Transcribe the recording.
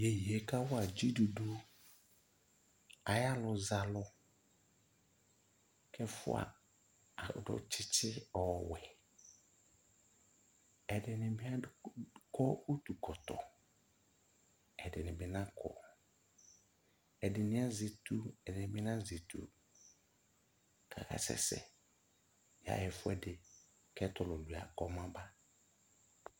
Yeye kawa dziduɖu ayalʋzalʋk'ɛfua adʋ tsɩtsɩ ɔwɛ, ɛdɩnɩ bɩ adʋ utukɔtɔ, ɛdɩnɩ bɩ nakɔ Ɛdɩ'ɩ azɛ etu, ɛdɩnɩ bɩ Nazɛ etu k'akasɛsɛ kayaɣa ɛfʋɛdɩ k'ɛtulʋlua kɔmaba